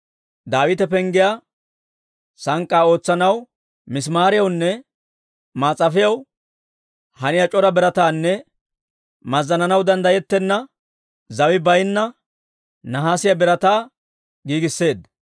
Daawite penggiyaa sank'k'aa ootsanaw misimaariyawunne maas'afiyaw haniyaa c'ora birataanne mazzananaw danddayettenna, zawi baynna nahaasiyaa birataa giigisseedda.